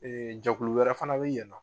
jɛkulu wɛrɛ fana bɛ yen nɔ